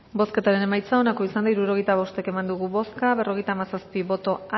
bozketaren emaitza onako izan da hirurogeita hamabost eman dugu bozka berrogeita hamazazpi boto